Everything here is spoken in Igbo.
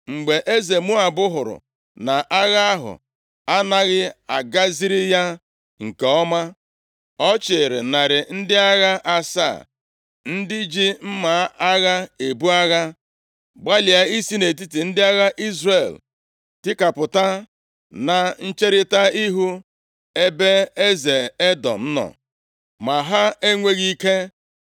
Mgbe eze Moab hụrụ na agha ahụ anaghị agaziri ya nke ọma, ọ chịịrị narị ndị agha asaa, ndị ji mma agha ebu agha, gbalịa isi nʼetiti ndị agha Izrel tikapụta, na ncherita ihu ebe eze Edọm nọ, ma ha enweghị ike.